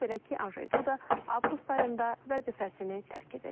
Belə ki, Anjey Duda avqust ayında vəzifəsini tərk edəcək.